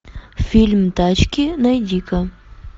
фильм тачки найди ка